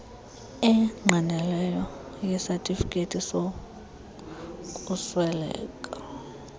engqinelweyo yesatifiketi sokusweleka